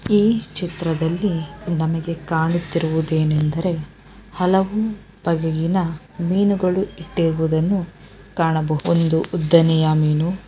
ಈ ಚಿತ್ರದಲ್ಲಿ ನಮಗೆ ಕಾಣುತ್ತಿರುವುದೇನೆಂದರೆ ಹಲವು ಬಗೆಗಿನ ಮೀನುಗಳು ಇರುವುದನ್ನು ಕಾಣಬಹುದು ಒಂದು ಉದ್ದನೆಯ ಮೀನು--